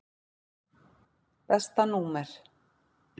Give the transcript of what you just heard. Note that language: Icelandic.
Besta númer?